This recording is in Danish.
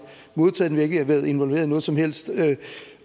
modtaget har ikke været involveret i noget som helst